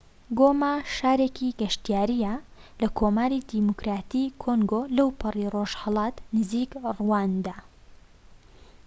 گۆما شارێکی گەشتیاریە لە کۆماری دیموکراتیی کۆنگۆ لەوپەڕی ڕۆژهەڵات لە نزیك ڕواندا